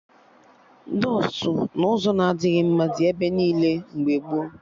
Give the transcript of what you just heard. Dọstụ n'ụzọ na-adịghị mma dị ebe niile mgbe gboo